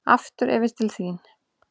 Aftur yfir til þín.